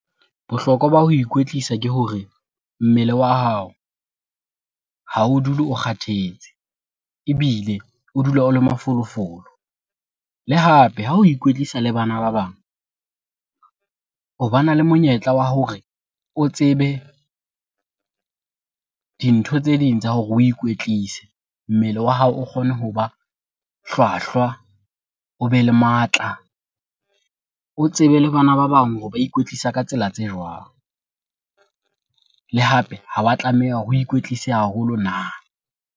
Bohlokwa ba ho ikwetlisa ke hore mmele wa hao ha o dule o kgathetse ebile o dula o le mafolofolo. Le hape ha o ikwetlisa le bana ba bang, o bana le monyetla wa hore o tsebe dintho tse ding tsa hore oe ikwetlise. Mmele wa hao o kgone hoba hlwahlwa, o be le matla, o tsebe le bana ba bang hore ba ikwetlisa ka tsela tse jwang? Le hape ha wa tlameha hore o ikwetlise haholo na?